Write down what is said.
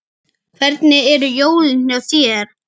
Hvernig eru jólin hjá þér?